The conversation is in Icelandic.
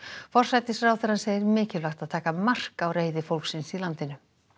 forsætisráðherrann segir mikilvægt að taka mark á reiði fólksins í landinu